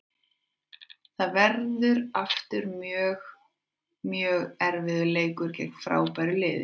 Það verður aftur mjög, mjög erfiður leikur gegn frábæru liði.